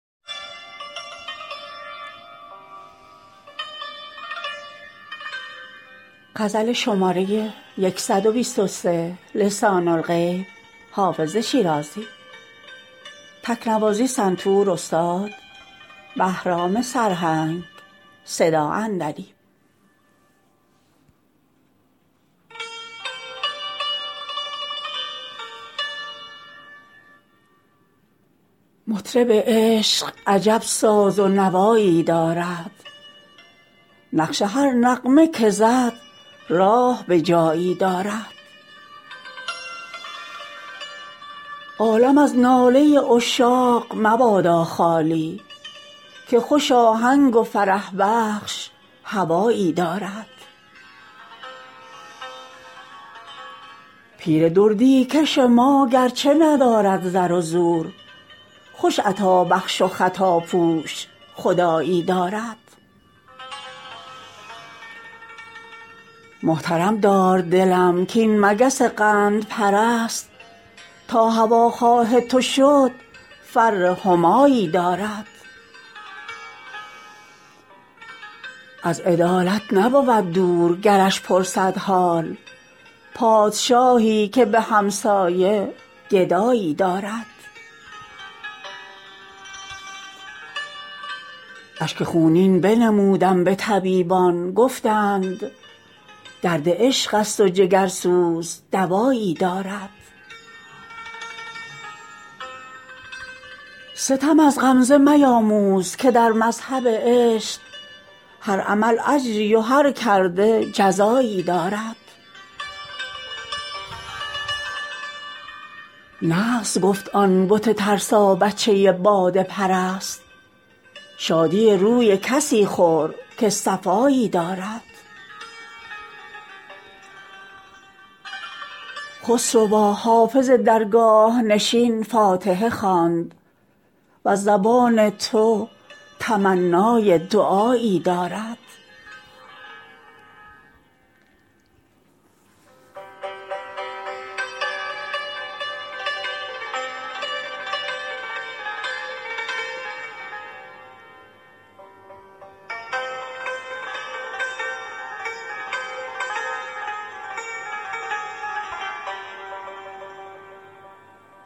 مطرب عشق عجب ساز و نوایی دارد نقش هر نغمه که زد راه به جایی دارد عالم از ناله عشاق مبادا خالی که خوش آهنگ و فرح بخش هوایی دارد پیر دردی کش ما گرچه ندارد زر و زور خوش عطابخش و خطاپوش خدایی دارد محترم دار دلم کاین مگس قندپرست تا هواخواه تو شد فر همایی دارد از عدالت نبود دور گرش پرسد حال پادشاهی که به همسایه گدایی دارد اشک خونین بنمودم به طبیبان گفتند درد عشق است و جگرسوز دوایی دارد ستم از غمزه میاموز که در مذهب عشق هر عمل اجری و هر کرده جزایی دارد نغز گفت آن بت ترسابچه باده پرست شادی روی کسی خور که صفایی دارد خسروا حافظ درگاه نشین فاتحه خواند وز زبان تو تمنای دعایی دارد